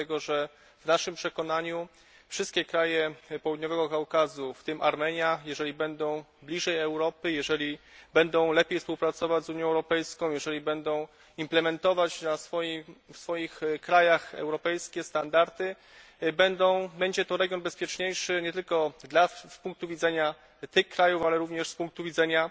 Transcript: Dlatego, że w naszym przekonaniu wszystkie kraj Południowego Kaukazu, w tym Armenia, jeżeli będą bliżej Europy, jeżeli będą lepiej współpracować z Unią Europejską, jeżeli będą wdrażać w swoich krajach europejskie standardy, staną się bezpieczniejsze, nie tylko z punktu widzenia tych krajów, ale również z punktu widzenia